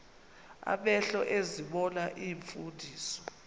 amehlo ezibona iimfundiso